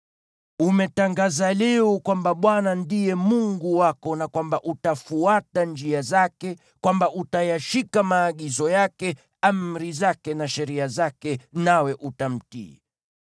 Umetangaza leo kwamba Bwana ndiye Mungu wako na kwamba utafuata njia zake, kwamba utayashika maagizo yake, amri zake na sheria zake nawe utamtii.